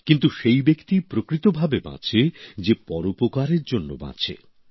কিন্তু সেই ব্যক্তিই প্রকৃতভাবে বাঁচে যে পরোপকারের জন্য বাঁচে